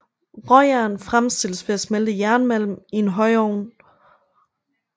Råjern fremstilles ved at smelte jernmalm i en højovn